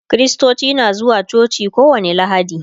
kristoci na zuwa coci kowani lahadi